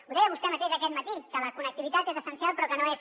ho deia vostè mateix aquest matí que la connectivitat és essencial però que no és